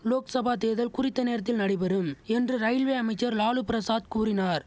லோக்சபா தேர்தல் குறித்த நேரத்தில் நடைபெறும் என்று ரயில்வே அமைச்சர் லாலு பிரசாத் கூறினார்